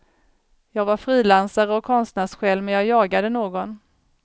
Jag var frilansare och konstnärssjäl, men jag jagade någon.